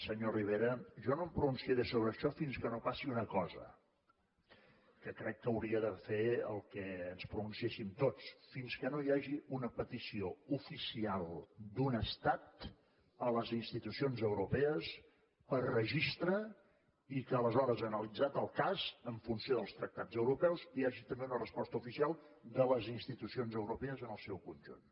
senyor rivera jo no em pronunciaré sobre això fins que no passi una cosa que crec que hauria de fer que ens pronunciéssim tots fins que no hi hagi una petició oficial d’un estat a les institucions europees per registre i que aleshores analitzat el cas en funció dels tractats europeus hi hagi també una resposta oficial de les institucions europees en el seu conjunt